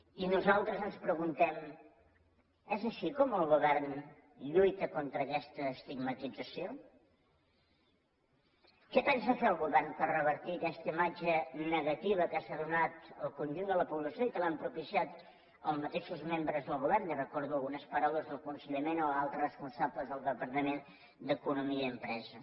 i nosaltres ens preguntem és així com el govern lluita contra aquesta estigmatització què pensa fer el govern per revertir aquesta imatge negativa que s’ha donat al conjunt de la població i que l’han propiciat els mateixos membres del govern li recordo algunes paraules del conseller mena o altres responsables del departament d’economia i empresa